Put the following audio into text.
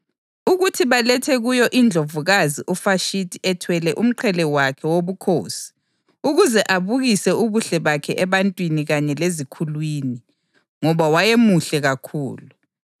ukuthi balethe kuyo iNdlovukazi uVashithi ethwele umqhele wakhe wobukhosi ukuze abukise ubuhle bakhe ebantwini kanye lezikhulwini, ngoba wayemuhle kakhulu.